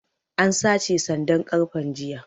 An sace sandan ƙarfen jiya